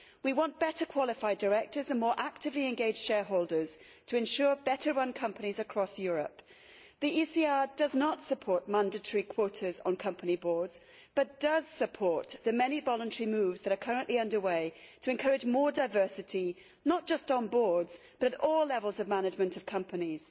We want better qualified directors and more actively engaged shareholders to ensure better run companies across Europe. The ECR does not support mandatory quotas on company boards, but does support the many voluntary moves that are currently under way to encourage more diversity, not just on boards but at all levels of management of companies.